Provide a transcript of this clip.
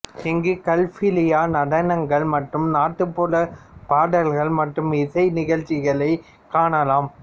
இங்கு கல்பீலியா நடனங்கள் மற்றும் நாட்டுப்புறப் பாடல்கள் மற்றும் இசை நிகழ்ச்சிகளை காணலாம்